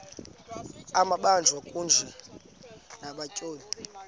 amabanjwa kunye nabatyholwa